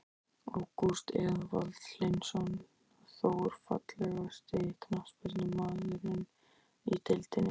Ágúst Eðvald Hlynsson, Þór.Fallegasti knattspyrnumaðurinn í deildinni?